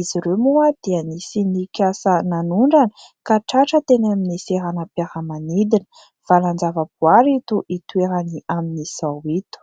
Izy ireo moa dia nisy nikasa nanondrana ka tratra teny amin'ny seranam-piara-manidina. Valan-java-boary to itoerany amin'izao eto.